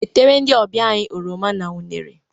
Wetere ndị ọbịa anyị oroma na unere!